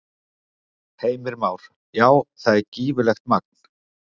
Heimir Már: Já, það er gífurlegt magn?